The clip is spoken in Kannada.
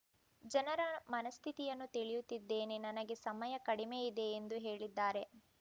ಜನರ ಮನಸ್ಥಿತಿಯನ್ನ ತಿಳಿಯುತಿದ್ದೇನೆ ನನಗೆ ಸಮಯ ಕಡಿಮೆ ಇದೆ ಎಂದು ಹೇಳಿದ್ದಾರೆ